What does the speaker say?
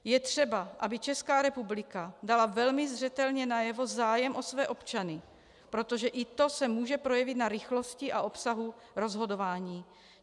Je třeba, aby Česká republika dala velmi zřetelně najevo zájem o své občany, protože i to se může projevit na rychlosti a obsahu rozhodování.